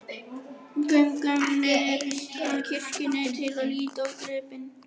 Göngum niður að kirkjunni til að líta á gripinn.